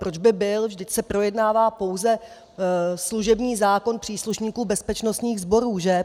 Proč by byl, vždyť se projednává pouze služební zákon příslušníků bezpečnostních sborů, že?